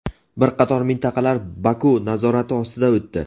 bir qator mintaqalar Baku nazorati ostiga o‘tdi.